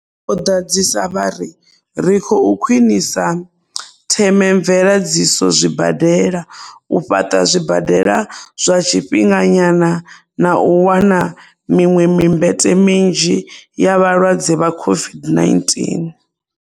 Vho ḓadzisa vha ri, ri khou khwinisa themamveledziso zwibadela, u fhaṱa zwibadela zwa tshifhinga nyana na u wana miṅwe mimbete minzhi ya vhalwadze vha COVID-19.